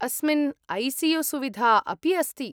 अस्मिन् ऐ.सि.यु. सुविधा अपि अस्ति।